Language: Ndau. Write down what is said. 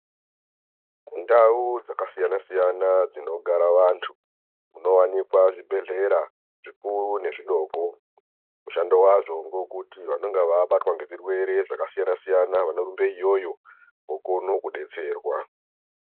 Mundau dzakasiyana siyana, dzinogara vantu, munowanikwa zvibhedhlera zvikuru nezvidoko. Zvandova zvongokuti vandova vabatwa ngechirwere zvaka siyana siyana vanorumbe iyoyo, vokone kudetserwa.